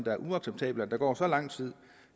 er uacceptabelt at der går så lang tid